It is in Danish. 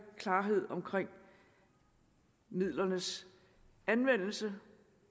klarhed omkring midlernes anvendelse